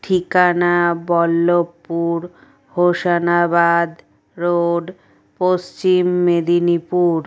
ঠিকানা বল্লভপুর হোসনাবাদ রোড পশ্চিম মেদিনীপুর।